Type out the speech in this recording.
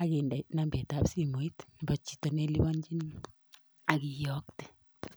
ak indee nambet ab simoit nebo chito neiliponyini ak iyooktee.